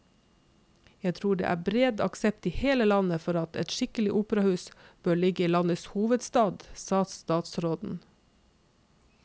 Jeg tror det er bred aksept i hele landet for at et skikkelig operahus bør ligge i landets hovedstad, sa statsråden.